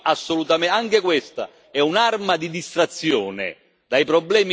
Anche questa è un'arma di distrazione dai problemi veri.